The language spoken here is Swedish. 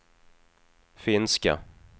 finska